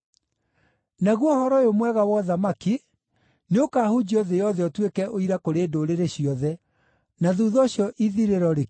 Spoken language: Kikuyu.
Naguo Ũhoro-ũyũ-Mwega wa ũthamaki nĩũkahunjio thĩ yothe ũtuĩke ũira kũrĩ ndũrĩrĩ ciothe, na thuutha ũcio ithirĩro rĩkinye.